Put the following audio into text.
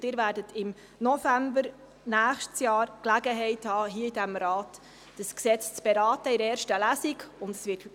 Sie werden im November 2020 die Gelegenheit erhalten, dieses Gesetz in einer 1. Lesung zu beraten.